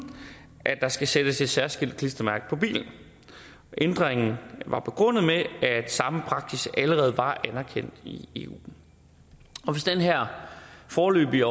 at der skal sættes et særskilt klistermærke på bilen ændringen var begrundet med at samme praksis allerede var anerkendt i eu og hvis den her foreløbige